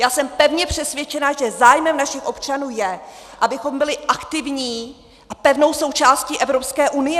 Já jsem pevně přesvědčená, že zájmem našich občanů je, abychom byli aktivní a pevnou součástí Evropské unie.